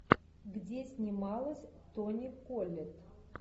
где снималась тони коллетт